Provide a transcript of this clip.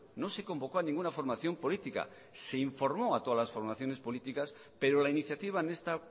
no se convocó a ninguna formación política se informó a todas las formaciones políticas pero la iniciativa en esta